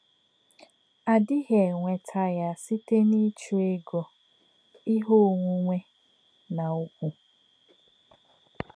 À dì̄ghí̄ ènwè̄tá̄ yá̄ sīté̄ n’ìchụ́ égò̄, íhè̄ ọ̀nwù̄nè̄, nā̄ ùgwù̄.